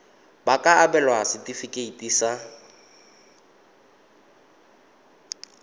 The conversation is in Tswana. ba ka abelwa setefikeiti sa